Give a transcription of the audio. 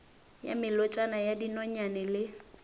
ya melotšana ya dinonyane le